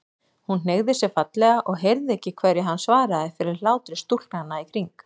Hún hneigði sig fallega og heyrði ekki hverju hann svaraði fyrir hlátri stúlknanna í kring.